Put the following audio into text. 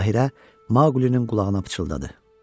Bahirə Maqulinin qulağına pıçıldadı.